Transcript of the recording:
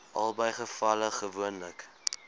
albei gevalle gewoonlik